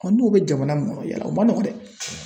n'o bɛ jamana min kɔnɔ yala o man nɔgɔn dɛ.